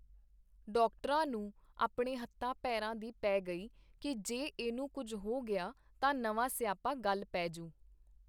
ਡਾਕਟਰਾਂ ਨੂੰ ਆਪਣੇ ਹੱਥਾਂ ਪੇਰਾਂ ਦੀ ਪੇ ਗਈ ਕੀ ਜੇ ਇਹਨੂੰ ਕੁੱਝ ਹੋ ਗਿਆ ਤਾਂ ਨਵਾ ਸਿਆਪਾ ਗਲ ਪੇ ਜੂ.